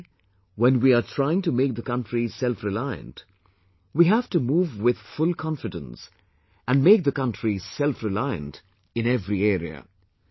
Today, when we are trying to make the country selfreliant, we have to move with full confidence; and make the country selfreliant in every area